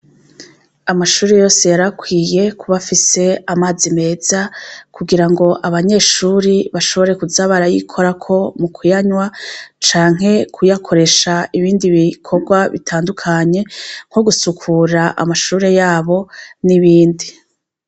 Amashure yose yari akwiye kuba afise amazi meza, kugirango abanyeshure bashobore kuza barayikorako mu kuyanywa, canke kuyakoresha ibindi bikorwa bitandukanye nko gusukura amashure yabo n'ibindi.